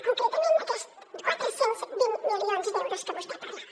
concretament aquests quatre cents i vint milions d’euros que vostè parlava